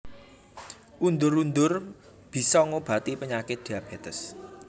Undur undur bisa ngobati penyakit diabetes